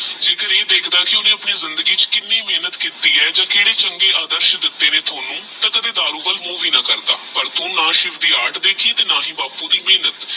ਇਹ ਦੇਖਦਾ ਕੀ ਓਹਨੇ ਆਪਣੀ ਜ਼ਿੰਦਗੀ ਚ ਕਿੰਨੀ ਮੇਹਨਤ ਕੀਤੀ ਆਹ ਜੇ ਕਦੇ ਚੰਗੇ ਅਧਾਰਸ਼ ਦਿਤੇ ਨੇ ਓਹਨੁ ਕੀ ਕਦੇ ਦਾਰੂ ਵਾਲ ਮੁਹ ਵੀ ਨਾ ਕਰਦਾ ਪਰ ਤੂ ਨਾ ਸ਼ਿਵ ਦੀ ਆੜ ਦੇਖੀ ਨਾ ਬਾਪੁ ਦੀ ਮੇਹਨਤ